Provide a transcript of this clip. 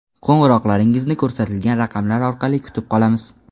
Qo‘ng‘iroqlaringizni ko‘rsatilgan raqamlar orqali kutib qolamiz.